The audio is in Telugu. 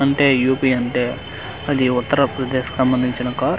అంటే యు_పి అంటే అది ఉత్తరప్రదేశ్ కి సంబందించిన కార్ .